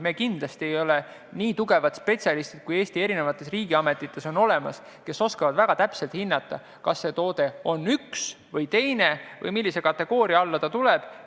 Me kindlasti ei ole nii tugevad spetsialistid, kui on olemas Eesti riigiametites – seal osatakse väga täpselt hinnata, mis kategooria alla üks või teine toode liigitub.